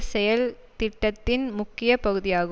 செயல்திட்டத்தின் முக்கிய பகுதியாகும்